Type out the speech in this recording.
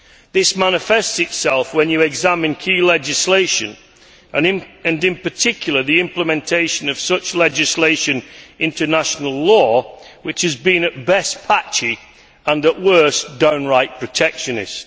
This manifests itself when you examine key legislation and, in particular, the implementation of such legislation in international law, which has been at best patchy and at worst downright protectionist.